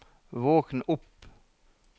våkn opp